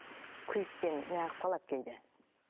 күйікпен неғып қалады кейде